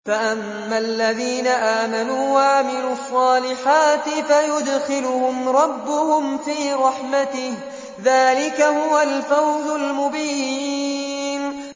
فَأَمَّا الَّذِينَ آمَنُوا وَعَمِلُوا الصَّالِحَاتِ فَيُدْخِلُهُمْ رَبُّهُمْ فِي رَحْمَتِهِ ۚ ذَٰلِكَ هُوَ الْفَوْزُ الْمُبِينُ